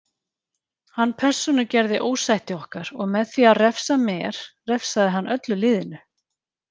Hann persónugerði ósætti okkar og með því að refsa mér refsaði hann öllu liðinu.